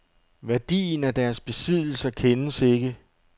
Værdien af deres besiddelser kendes ikke.